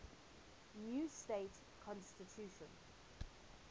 new state constitution